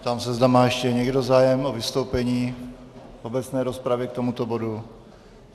Ptám se, zda má ještě někdo zájem o vystoupení v obecné rozpravě k tomuto bodu.